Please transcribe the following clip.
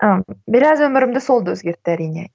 ы біраз өмірімді сол да өзгертті әрине